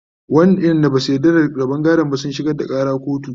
waƴanda Basu yarda da rabon gadon ba sun shigar da Ƙara kotu